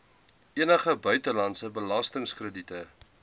enige buitelandse belastingkrediete